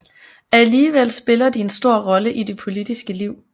Alligevel spiller de en stor rolle i det politiske liv